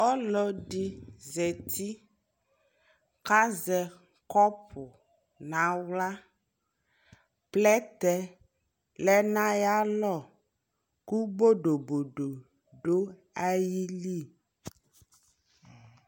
Ɔlɔ di zati kazɛ kɔpu na ɣla Plɛtɛ lɛ na ya lɔku bodobodo du ayi li